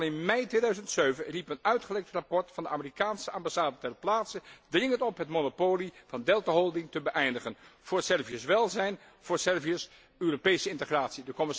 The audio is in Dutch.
Al in mei 2007 riep een uitgelekt rapport van de Amerikaanse ambassade ter plaatse dringend op het monopolie van Delta Holding te beëindigen, voor Servië's welzijn en voor Servië's Europese integratie.